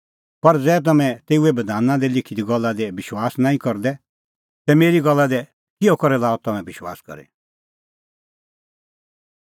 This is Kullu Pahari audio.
पर ज़ै तम्हैं तेऊए बधाना दी लिखी गल्ला दी विश्वास नांईं करदै तै मेरी गल्ला दी किहअ करै लाअ तम्हैं विश्वास करी